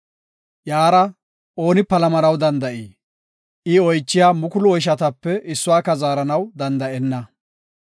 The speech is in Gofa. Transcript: Iyara ooni palamanaw danda7ii? I oychiya mukulu oyshatape issuwaka zaaranaw danda7enna.